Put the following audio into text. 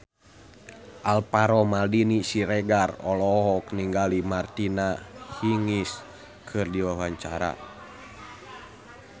Alvaro Maldini Siregar olohok ningali Martina Hingis keur diwawancara